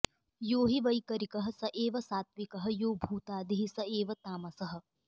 यो हि वैकरिकः स एव सात्त्विकः यो भूतादिः स एव तामसः